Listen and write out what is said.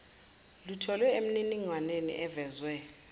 lutholwe emininingwaneni evezwe